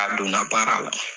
A donna baara la